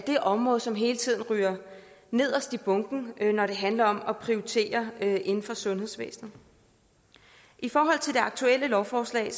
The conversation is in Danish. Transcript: det område som hele tiden ryger nederst i bunken når det handler om at prioritere inden for sundhedsvæsenet i forhold til det aktuelle lovforslag